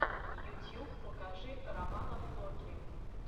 ютьюб покажи романа флоки